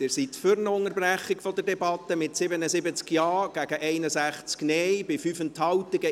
Sie sind für eine Unterbrechung der Debatte, mit 77 Ja- gegen 61 Nein-Stimmen bei 5 Enthaltungen.